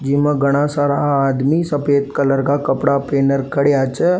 जीमा घणा सारा आदमी सफ़ेद कलर का कपड़ा पहनर खडेया छे।